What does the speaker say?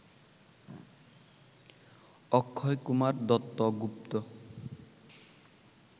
Akshay Kumar Duttagupta